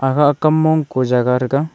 akhah akam mong ku jaga taga.